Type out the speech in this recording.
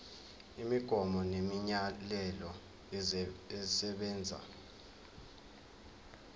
imigomo nemiyalelo esebenza